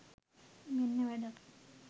මෙන්න වැඩක්